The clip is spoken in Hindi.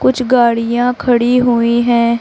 कुछ गाड़ियां खड़ी हुई हैं।